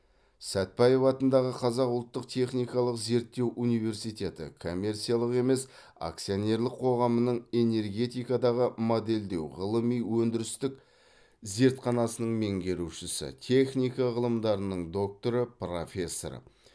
сәтбаев атындағы қазақ ұлттық техникалық зерттеу университеті коммерциялық емес акционерлік қоғамының энергетикадағы модельдеу ғылыми өндірістік зертханасының меңгерушісі техника ғылымдарының докторы профессор